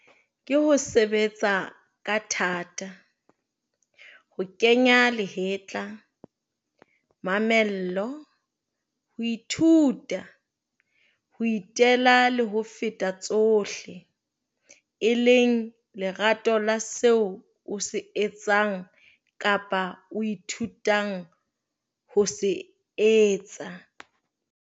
KE HO SEBETSA KA THATA, HO KENYA LEHETLA, MAMELLO, HO ITHUTA, HO ITELA LE HO FETA TSOHLE, E LENG LERATO LA SEO O SE ETSANG KAPA O ITHUTANG HO SE ETSA.